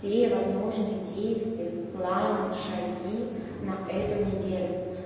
те возможные действия планы шаги на эту неделю